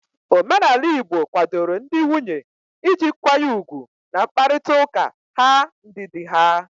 Omenala igbo kwadoro ndị nwunye iji nkwanye ugwu n'mkparịta ụka ha ndị di ha